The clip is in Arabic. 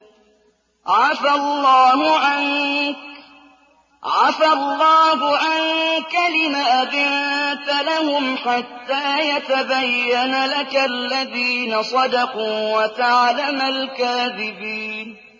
عَفَا اللَّهُ عَنكَ لِمَ أَذِنتَ لَهُمْ حَتَّىٰ يَتَبَيَّنَ لَكَ الَّذِينَ صَدَقُوا وَتَعْلَمَ الْكَاذِبِينَ